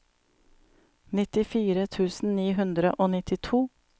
nittifire tusen ni hundre og nittito